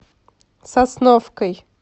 сосновкой